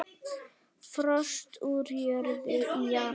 Frost úr jörð í janúar.